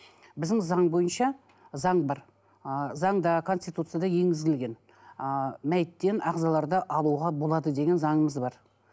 біздің заң бойынша заң бар ы заңда конституцияда енгізілген ыыы мәйттен ағзаларды алуға болады деген заңымыз бар